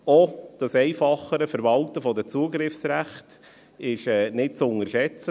Auch das einfachere Verwalten der Zugriffsrechte ist nicht zu unterschätzen.